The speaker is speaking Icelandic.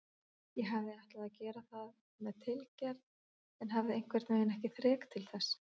Ég hafði ætlað að gera það með tilgerð en hafði einhvernveginn ekki þrek til þess.